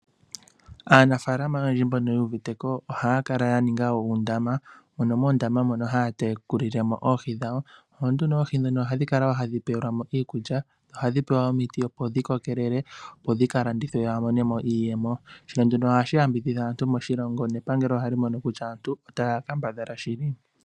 Aanafalama oyendji mbono yuuvite ko ohaya kala ya ninga uundama, mono muundama mono haya tekuli le mo oohi dhawo. Oohi ndhino ohadhi kala tadhi pewelwa mo iikulya, ohadhi pewa wo omiti, opo dhi kokelele, opo dhi ka landithwe ya mone mo iiyemo, sho ndunu ohashi yambidhidha aantu moshilongo nepangelo ohali mono kutya aantu otaya kambadhala moshili.